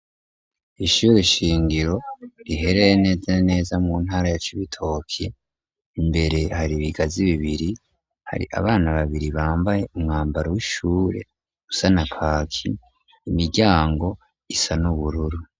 Ishure shingiro rihereye neza na neza mu ntara ya Cibitoki, imbere hari ibigazi bibiri, hari abana babiri bambaye umwambaro w'ishure usa na kaki, imiryango isa n'ubururu.